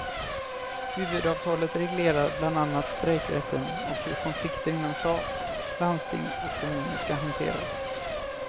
Huvudavtalet reglerar bland annat strejkrätten och hur konflikter inom stat, landsting och kommuner skall hanteras.